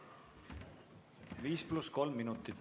Viis pluss kolm minutit.